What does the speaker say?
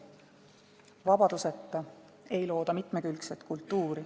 Vabaduseta ei looda mitmekülgset kultuuri.